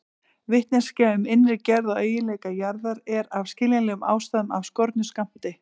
Vitneskja um innri gerð og eiginleika jarðar er af skiljanlegum ástæðum af skornum skammti.